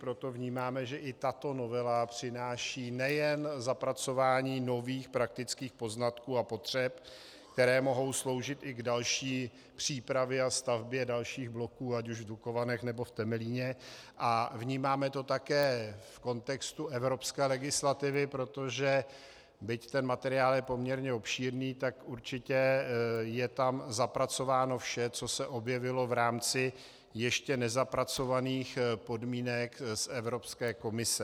Proto vnímáme, že i tato novela přináší nejen zapracování nových praktických poznatků a potřeb, které mohou sloužit i k další přípravě a stavbě dalších bloků ať už v Dukovanech, nebo v Temelíně, a vnímáme to také v kontextu evropské legislativy, protože byť ten materiál je poměrně obšírný, tak určitě je tam zapracováno vše, co se objevilo v rámci ještě nezapracovaných podmínek z Evropské komise.